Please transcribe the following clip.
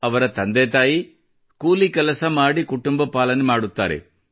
ಅವರ ತಂದೆತಾಯಿ ಕೂಲಿ ಕೆಲಸ ಮಾಡಿ ಕುಟುಂಬ ಪಾಲನೆ ಮಾಡುತ್ತಾರೆ